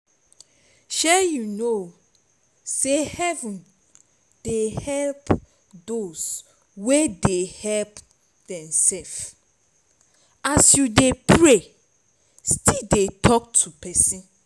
shey you no say heaven dey help doz wey dey help demself as you dey pray still talk to person